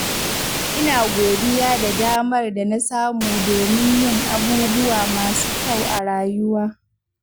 Ina godiya da damar da na samu domin yin abubuwa masu kyau a rayuwa.